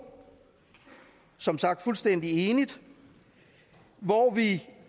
som sagt i fuldstændig enighed hvor vi